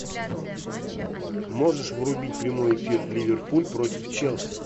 можешь врубить прямой эфир ливерпуль против челси